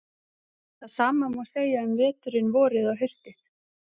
Það sama má segja um veturinn, vorið og haustið.